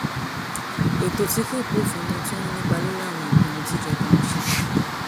ètò tí kò bófin mu tó ń nípa lórí àwọn ìpinnu tí ìjọba ń ṣe